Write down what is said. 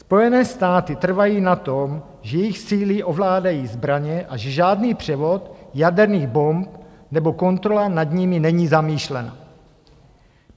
Spojené státy trvají na tom, že jejich síly ovládají zbraně a že žádný převod jaderných bomb nebo kontrola nad nimi není zamýšlena.